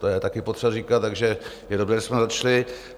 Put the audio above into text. To je také potřeba říkat, takže je dobré, že jsme začali.